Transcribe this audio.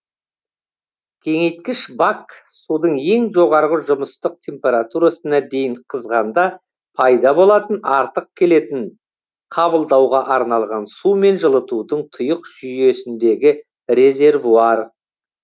кеңейткіш бак судың ең жоғарғы жұмыстық температурасына дейін қызғанда пайда болатын артық келетін қабылдауға арналған сумен жылытудың тұйық жүйесіндегі резервуар